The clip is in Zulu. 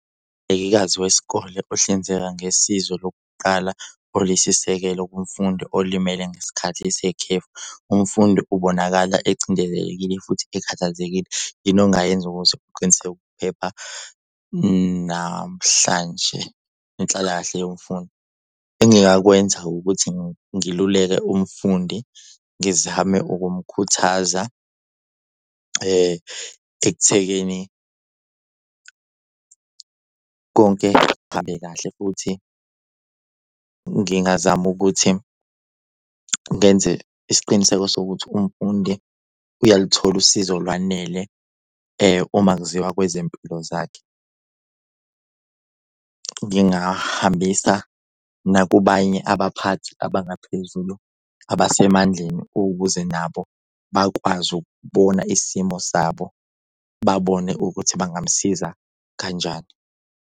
wesikole ohlinzeka ngesizo lokuqala oliyisisekelo kumfundi olimele ngesikhathi sekhefu. Umfundi ubonakala ecindezelekile futhi ekhathazekile. Yini ongayenza ukuze uqiniseke ukuphepha namhlanje nenhlalakahle yomfundi? Engingakwenza ukuthi ngiluleke umfundi ngizame ukumkhuthaza ekuthekeni konke kuhambe kahle futhi ngingazama ukuthi ngenze isiqiniseko sokuthi umfundi uyaluthola usizo olwanele uma kuziwa kwezempilo zakhe. Ngingahambisa nakubanye abaphathi abangaphezulu abasemandleni ukuze nabo bakwazi ukubona isimo sabo babone ukuthi bangamusiza kanjani.